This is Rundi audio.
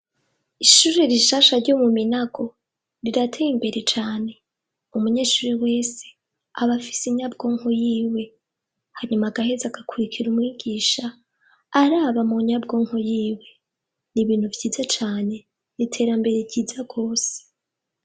Ishure rishasha ryo mu Minago, rirateye imbere cane. Umunyeshuri wese, abafise inyabwonko yiwe, hanyuma agaheze agakurikira umwigisha, araba mu nyabwonko yiwe. Ni ibintu vyiza cane, ni iterambere ryiza gose.